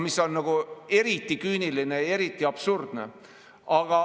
See on nagu eriti küüniline, eriti absurdne.